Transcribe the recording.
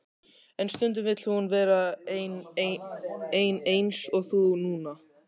En stundum vill hún vera ein eins og þú núna.